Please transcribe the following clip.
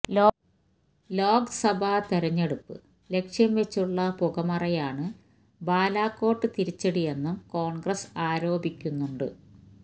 ലോക്സഭാ തിരഞ്ഞെടുപ്പ് ലക്ഷ്യം വെച്ചുള്ള പുകമറയാണ് ബാലക്കോട്ട് തിരിച്ചടിയെന്നും കോണ്ഗ്രസ് ആരോപിക്കുന്നുണ്ട്